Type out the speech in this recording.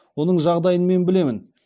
оның жағдайын мен білемін